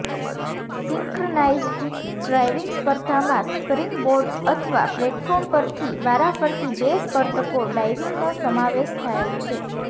synchronised diving સ્પર્ધામાં springboards અથવા platform પરથી વારાફરતી બે સ્પર્ધકો ડાઇવિંગનો સમાવેશ થાય છે